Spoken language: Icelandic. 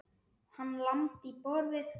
Hann lamdi í borðið.